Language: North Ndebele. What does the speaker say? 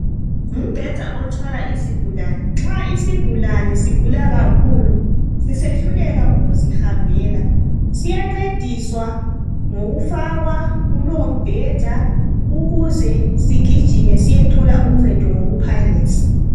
Ngumbheda othwala izigulane. Nxa isigulane sigula kakhulu sisehluleka ukuzihambela, siyancediswa ngokufakwa kulombheda ukuze sigijime siyethola uncedo ngokuphangisa.